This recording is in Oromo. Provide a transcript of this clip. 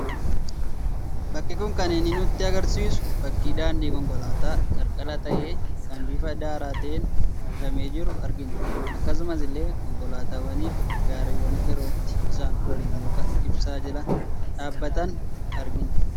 Bakki kun kan inni nutti agarsiisu, fakkii daandii konkolaataa qarqara ta'e, kan bifa daaraa ta'een uwwifamee jiru argina. Akkasuma illee konkolaataawwanii fi gaariiwwan yerootti isaan waliin muka ibsaa jala dhaabbatan argina.